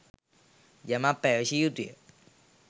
යමක් පැවසිය යුතු ය